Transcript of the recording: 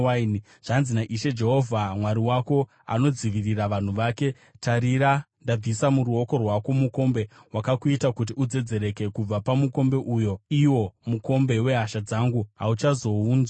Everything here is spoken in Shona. Zvanzi naIshe Jehovha Mwari wako, anodzivirira vanhu vake, “Tarira, ndabvisa muruoko rwako mukombe wakakuita kuti udzedzereke; kubva pamukombe uyo, iwo mukombe wehasha dzangu, hauchazounwizve.